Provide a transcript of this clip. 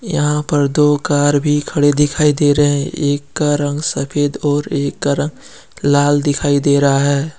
यहाँ पर दो कार भी खड़े दिखाई दे रहे है एक का रंग सफेद और एक का रंग लाल दिखाई दे रहा है।